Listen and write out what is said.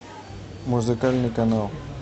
музыкальный канал